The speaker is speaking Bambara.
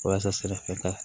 Walasa sira fɛ ka